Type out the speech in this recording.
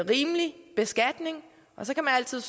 rimelig beskatning så kan man altid